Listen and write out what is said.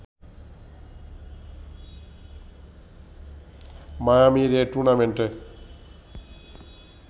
মায়ামির এ টুর্নামেন্টে